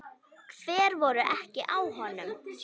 Hver voru ekki á honum?